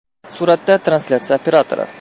Suratda translyatsiya operatori.